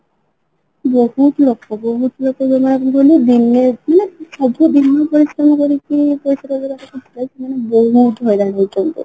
ବହୁତ ଲୋକ ବହୁତ ଲୋକ ମାନେ କଣ କହିଲୁ ଦିନେ ଆସୁଥିଲେ ଦିନେ ପରିଶ୍ରମ କରିକି ରି ପଇସା ରୋଜଗାର କରୁଥିଲେ ସେମାନେ ବହୁତ ହଇରାଣ ହଉଛନ୍ତି